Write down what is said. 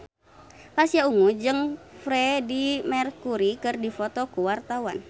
Pasha Ungu jeung Freedie Mercury keur dipoto ku wartawan